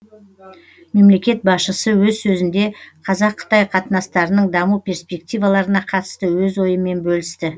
мемлекет басшысы өз сөзінде қазақ қытай қатынастарының даму перспективаларына қатысты өз ойымен бөлісті